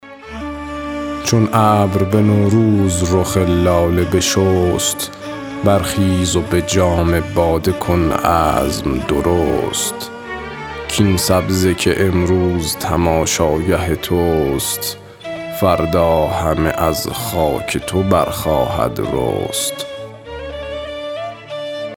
چون ابر به نوروز رخ لاله بشست برخیز و به جام باده کن عزم درست کاین سبزه که امروز تماشاگه توست فردا همه از خاک تو برخواهد رست